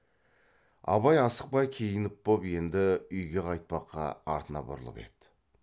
абай асықпай киініп боп енді үйге қайтпаққа артына бұрылып еді